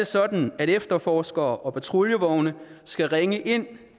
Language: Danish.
sådan at efterforskere og patruljevogne skal ringe ind